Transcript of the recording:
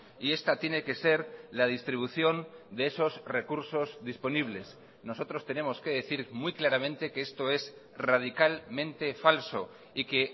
y esta tiene que ser la distribución de esos recursos disponibles nosotros tenemos que decir muy claramente que esto es radicalmente falso y que